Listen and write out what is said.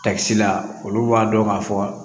Tasi la olu b'a dɔn ka fɔ